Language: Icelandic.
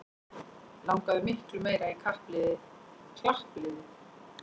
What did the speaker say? Langaði miklu meira í klappliðið